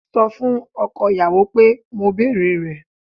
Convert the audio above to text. Sọ fún ọkọ ìyàwó pé mo bèrè rẹ̀